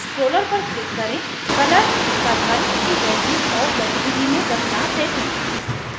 scroller पर click करें color circle की value और गतिविधि में बदलाव देखें